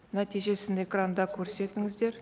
нәтижесін экранда көрсетіңіздер